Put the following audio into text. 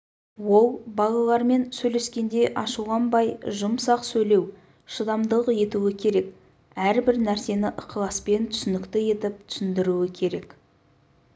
ол балалармен сөйлескенде ашуланбай жұмсақ сөйлеу шыдамдылық етуі керек әрбір нәрсені ықыласпен түсінікті етіп түсіндіруі керек